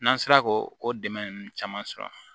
N'an sera k'o dɛmɛ ninnu caman sɔrɔ